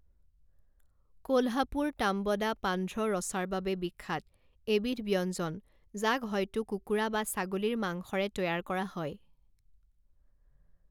কোল্হাপুৰ তাম্বদা পান্ধ্ৰ ৰছাৰ বাবে বিখ্যাত, এবিধ ব্যঞ্জন, যাক হয়তো কুকুৰা বা ছাগলীৰ মাংসৰে তৈয়াৰ কৰা হয়।